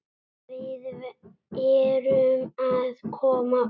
Við erum að koma út.